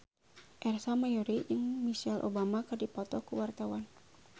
Ersa Mayori jeung Michelle Obama keur dipoto ku wartawan